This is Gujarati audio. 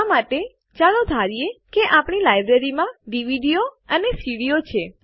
આ માટે ચાલો ધારીએ કે આપણી લાઈબ્રેરીમાં DVDઓ અને CDઓ છે